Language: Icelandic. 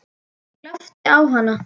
Ég glápti á hana.